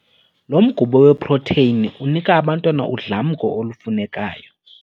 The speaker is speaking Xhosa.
Lo mgubo weprotheyini unika abantwana udlamko olufunekayo.